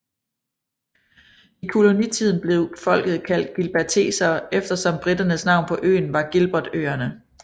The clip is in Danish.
I kolonitiden blev folket kaldt gilbertesere efter som briternes navn på øerne var Gilbertøerne